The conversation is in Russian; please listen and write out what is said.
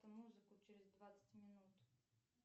музыку через двадцать минут